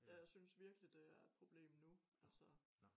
ja jeg synes virkelig det er et problem nu